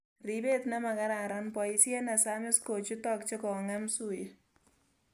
Ripe t ne makararan ,boisiet nesamisb kochutok chekongem suiye